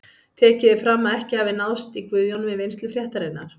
Tekið er fram að ekki hafi náðst í Guðjón við vinnslu fréttarinnar.